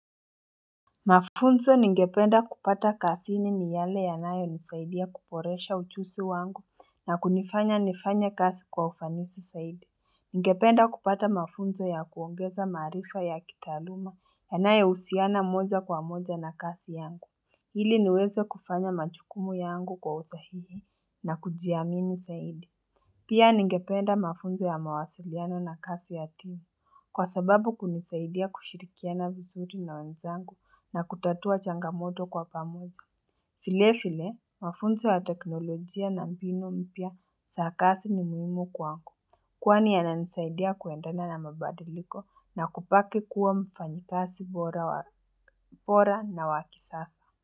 Mafunzo ningependa kupata kasini ni yale yanayonisaidia kuporesha uchusi wangu na kunifanya nifanye kasi kwa ufanisi saidi. Ningependa kupata mafunzo ya kuongeza maarifa ya kitaaluma yanayousiana moja kwa moja na kasi yangu. Ili niweze kufanya machukumu yangu kwa usahihi na kujiamini saidi. Pia ningependa mafunzo ya mawasiliano na kasi ya timu, kwa sababu kunisaidia kushirikiana vizuri na wenzangu na kutatua changamoto kwa pamoja. File file, mafunzo ya teknolojia na mbinu mpya sa kasi ni muhimu kwangu. Kwani yananisaidia kuendana na mabadiliko na kupaki kuwa mfanyikasi bora na wa kisasa.